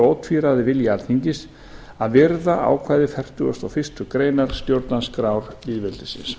ótvíræður vilji alþingis að virða ákvæði fertugasta og fyrstu grein stjórnarskrár lýðveldisins